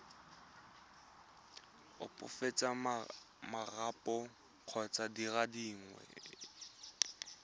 opafatsa marapo kgotsa dire dingwe